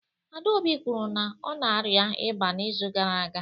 Adaobi kwuru na ọ na-arịa ịba n'izu gara aga